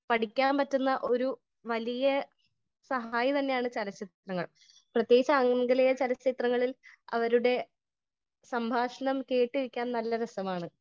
Speaker 1 പടിക്കാൻ പറ്റുന്ന ഒരു വലിയ സഹായി തന്നെയാണ് ചലച്ചിത്രങ്ങൾ . പ്രത്യേകിച്ച് ആംഗലേയ ചലച്ചിത്രങ്ങളിൽ അവരുടെ സംഭാഷണം കേട്ടിരിക്കാൻ നല്ല രസാണ് .